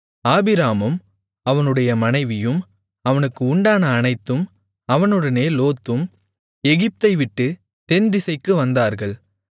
ஆபிராமும் அவனுடைய மனைவியும் அவனுக்கு உண்டான அனைத்தும் அவனுடனே லோத்தும் எகிப்தை விட்டு தென்திசைக்கு வந்தார்கள்